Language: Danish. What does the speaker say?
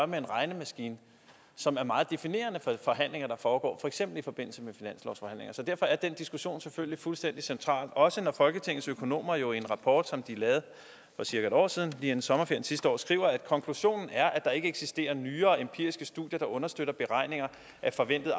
med en regnemaskine som er meget definerende for forhandlinger der foregår for eksempel i forbindelse med finanslovsforhandlinger så derfor er den diskussion selvfølgelig fuldstændig central også når folketingets økonomer jo i en rapport som de lavede for cirka en år siden lige inden sommerpausen skriver skriver konklusionen er at der ikke eksisterer nyere empiriske studier der understøtter beregninger af forventede